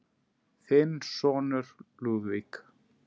Þinn sonur, Lúðvík.